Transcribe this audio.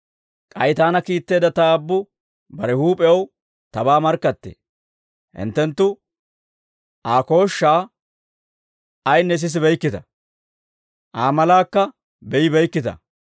«K'ay taana kiitteedda Ta Aabbu bare huup'ew tabaa markkattee. Hinttenttu Aa kooshshaa ayinne sisibeykkita; Aa malaakka be'ibeykkita.